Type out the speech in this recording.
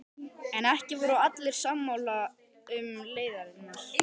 En ekki voru allir sammála um leiðirnar.